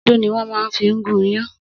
Odó ni wọ́n máa fi ń gún iyán